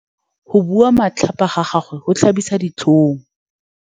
Go bua matlhapa ga gagwe go tlhabisa ditlhong.